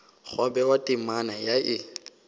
gwa bewa temana ye e